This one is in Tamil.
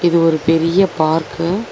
இது ஒரு பெரீய பார்க்கு .